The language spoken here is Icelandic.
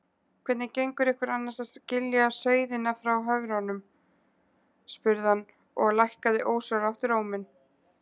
Hvernig gengur ykkur annars að skilja sauðina frá höfrunum? spurði hann og lækkaði ósjálfrátt róminn.